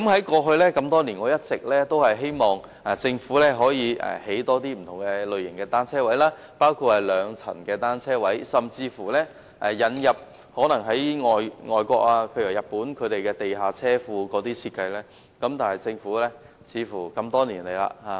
過去多年來，我一直希望政府可以多興建不同類型的單車泊位，包括兩層的單車泊位，甚至採用外國的地下車庫設計，但政府似乎多年來也沒有作出回應。